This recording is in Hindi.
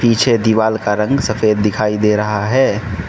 पीछे दीवाल का रंग सफेद दिखाई दे रहा है।